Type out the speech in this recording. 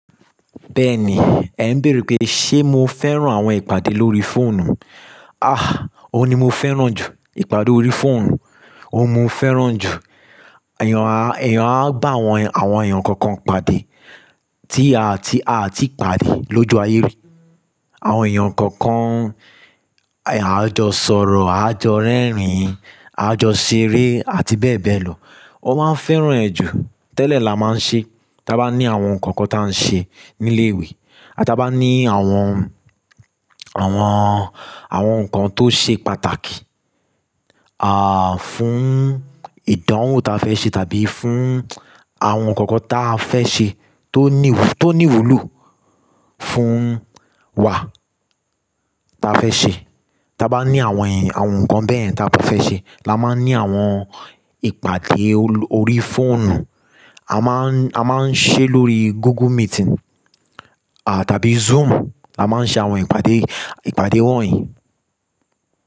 Bẹ́ẹ̀ni, ẹ̀ ń bèèrè pé ṣé mo fẹ́ràn àwọn ìpàdé lórí fóònù? Ah! Ó ní mo fẹ́ràn jù ìpàdé orí fóònù, òun mo fẹ́ràn jù. Ẹ̀yan a, ẹ̀yan a bá àwọn, àwọn ẹ̀yan kọ̀ọ̀kan pàdé tí a tí, a tí pàdé lójú ayé rí. Àwọn ẹ̀yan kọ̀ọ̀kan, à jọ sọ̀rọ̀, à jọ rẹ́rìn-ín, à jọ ṣeré àti bẹ́ẹ̀ bẹ́ẹ̀ lọ. Ó máa ń fẹ́ràn ẹ́ jù. Tẹ́lẹ̀ la máa ń ṣe, tí a bá ní àwọn nǹkan kan tí a ń ṣe ní ilé ìwé àti bá ní àwọn, àwọn, àwọn nǹkan tó ṣe pàtàkì, ah, fún ìdánwò ta fẹ́ ṣe tàbí fún àwọn nǹkan kan ta fẹ́ ṣe tó ní, tó ní ìwúlò fún wa ta fẹ́ ṣe. Tí a bá ní àwọn ẹ̀yin, àwọn nǹkan bẹ́ẹ̀ ta bá fẹ́ ṣe, la máa ń ní àwọn ìpàdé oló, orí fóònù. A máa ń, a máa ń ṣe lórí Google Meeting, à, tàbí Zoom. La máa ń ṣe àwọn ìpàdé, ìpàdé wọ̀nyí.